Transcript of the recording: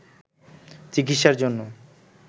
চিকিৎসার জন্য